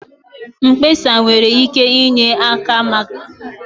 Mkpesa nwere ike inye aka mechie nkewa dị n'etiti ndị na-alụ ọgụ, na-akwalite mkparịta ụka na nghọta